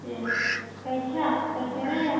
എഹ്. കഴിച്ച? കഴിക്കാറായ?